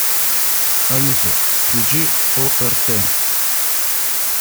алиса включи орт